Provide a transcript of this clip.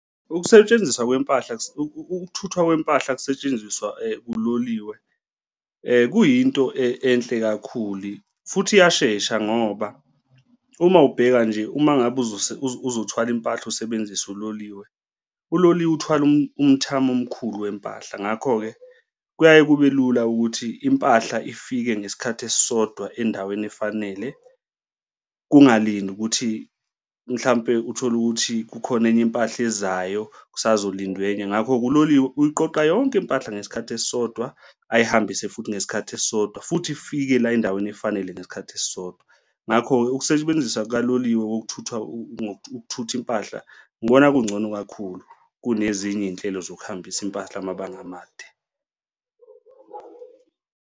Ukusetshenziswa kwempahla, ukuthuthwa kwempahla kusetshenziswa uloliwe kuyinto enhle kakhulu futhi iyashesha ngoba uma ubheka nje uma ngabe ezothwala impahla usebenzisa uloliwe, uloliwe uthwala umthamo omkhulu wempahla. Ngakho-ke kuyaye kube lula ukuthi impahla ifike ngesikhathi esisodwa endaweni efanele kungalindi ukuthi mhlampe uthole ukuthi kukhona enye impahla ezayo kusazolindwa enye. Ngakho-ke, uloliwe uyiqoqe yonke impahla ngesikhathi esisodwa ayihambise futhi ngesikhathi esisodwa futhi ifike la endaweni efanele ngesikhathi esisodwa. Ngakho-ke ukusebenzisa kukaloliwe wokuthuthwa ukuthutha impahla ngibona kungcono kakhulu kunezinye iy'nhlelo zokuhambisa impahla amabanga amade.